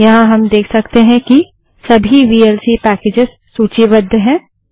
यहाँ हम देख सकते हैं कि सभी वीएलसी पैकेजस सूचीबद्ध हैं